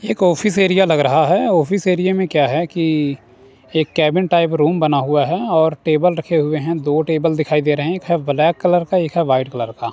एक office area लग रहा है ऑफिस एरिया में क्या है कि एक केबिन टाइप रूम बना हुआ है और टेबल रखे हुए हैं दो टेबल दिखाई दे रहे हैं एक है ब्लैक कलर का एक है वाइट कलर का।